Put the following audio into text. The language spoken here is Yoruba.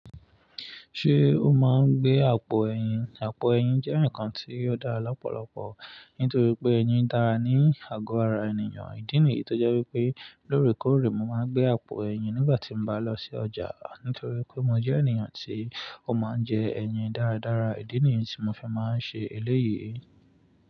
Ṣé o máa ń gbé àpò ẹyin? Àpò ẹyin jẹ́ ǹkan tí ó dára lọ́pọ̀lọpọ̀ nítorí pé ẹyin dára ní àgọ́ ara ènìyàn. Ìdí nìyí tó jẹ́ wípé lóòrèkóòrè mo máa ń gbé àpò ẹyin nígbà tí mo bá lọ sí ọjà nítorí pé mo jẹ́ ènìyàn tí ó máa ń jẹ ẹyin dára dára. Ìdí nìyí tí mo fẹ́ máa ń ṣe eléyìí.